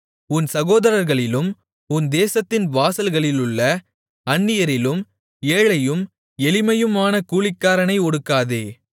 உன் சகோதரர்களிலும் உன் தேசத்தின் வாசல்களிலுள்ள அந்நியரிலும் ஏழையும் எளிமையுமான கூலிக்காரனை ஒடுக்காதே